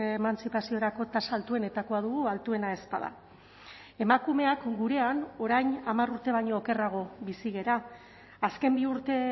emantzipaziorako tasa altuenetakoa dugu altuena ez bada emakumeak gurean orain hamar urte baino okerrago bizi gara azken bi urte